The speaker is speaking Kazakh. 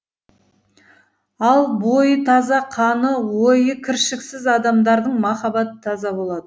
ал бойы таза қаны ойы кіршіксіз адамдардың махаббаты таза болады